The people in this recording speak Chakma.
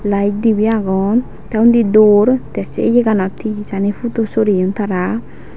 layet dibey agon te undi door te se iyeganot he hejani pudu soreyon tara.